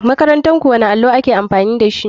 Makarantarku wani allo ake amfani dashi.